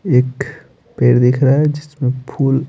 एख पेड़ दिख रहा है जिसमें फूल --